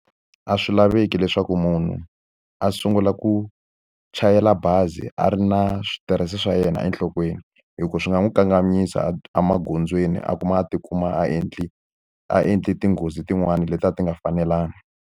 A swi laveki leswaku munhu a sungula ku chayela bazi a ri na switirese swa yena enhlokweni. Hi ku swi nga n'wi kanganyisa emagondzweni a kuma a tikuma a endle a endle tinghozi tin'wani leti a ti nga fanelangi.